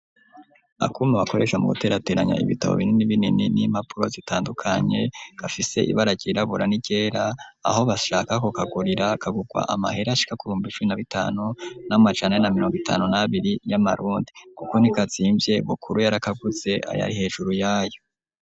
Akuma bakoresha mu guterateranya ibitabo binini binini n'impapuro zitandukanye gafise ibara ryirabura niryera, aho bashaka ko kagurira kagugwa amahere ashika kubihumbi icumi na bitanu n'amajane na mirongo itanu nabiri y'amarundi, kuko ntikazimvye Bukuru yarakaguze ayari hejuru yayo.